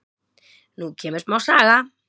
Nú kemur smá saga.